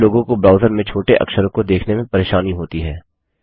कुछ लोगों को ब्राउज़र में छोटे अक्षरों को देखने में परेशानी होती है